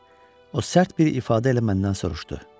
O sərt bir ifadə ilə məndən soruşdu.